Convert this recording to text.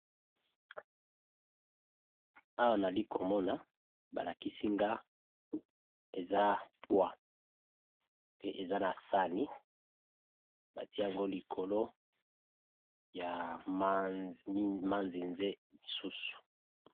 Awa nali komona balakisi nga eza pwa pe eza na sani batiya yango likolo ya manzinze misusu